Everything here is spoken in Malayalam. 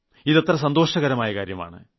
ഇത് എത്ര സന്തോഷകരമായ കാര്യമാണ്